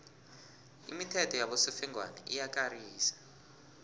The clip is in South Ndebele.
imithetho yabosofengwana iyakarisa